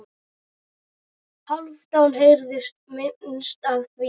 Hálfdán heyrði minnst af því.